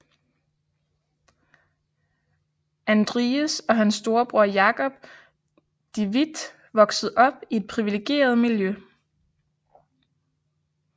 Andries og hans storebror Jacob de Witt voksede op i et privilegeret miljø